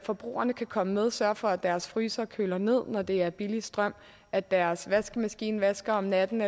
forbrugerne kan komme med og sørge for at deres fryser køler ned når der er billig strøm at deres vaskemaskine vasker om natten